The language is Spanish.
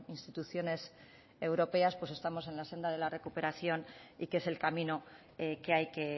instituciones europeas pues estamos en la senda de la recuperación y que es el camino que hay que